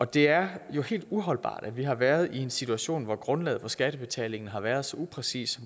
det er jo helt uholdbart at vi har været i en situation hvor grundlaget for skattebetalingen har været så upræcis